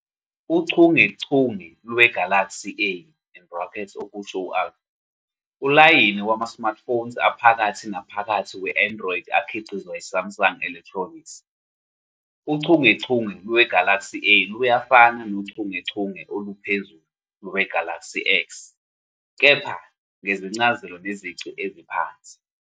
Uchungechunge lwe-Galaxy A, okusho u-Alpha, ulayini wama-smartphones aphakathi naphakathi we-Android akhiqizwa yi-Samsung Electronics. Uchungechunge lwe-Galaxy A luyafana nochungechunge oluphezulu lwe-Galaxy S, kepha ngezincazelo nezici eziphansi.